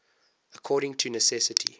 according to necessity